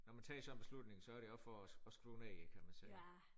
Når man tager sådan en beslutning så er det også for at skrue ned kan man sige